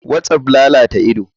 Whatsapp lalata ido.